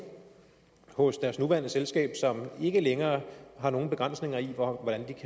hos deres nuværende selskab som ikke længere har nogen begrænsninger for hvordan